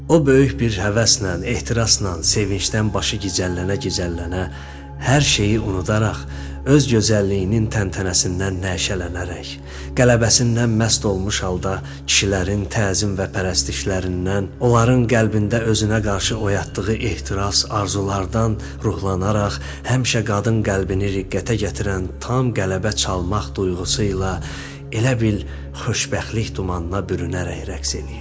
O böyük bir həvəslə, ehtirasla, sevincdən başı gicəllənə-gicəllənə, hər şeyi unudaraq, öz gözəlliyinin təntənəsindən nəşələnərək, qələbəsindən məst olmuş halda kişilərin təzim və pərəstişlərindən, onların qəlbində özünə qarşı oyatdığı ehtiras, arzulardan ruhlanaraq, həmişə qadın qəlbini riqqətə gətirən tam qələbə çalmaq duyğusu ilə elə bil xoşbəxtlik dumanına bürünərək rəqs edirdi.